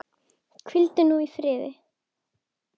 Hvíldu nú í friði.